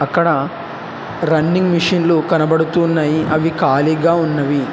ఇక్కడ రన్నింగ్ మిషన్లు కనబడుతున్నాయి అవి ఖాళీగా ఉన్నవి.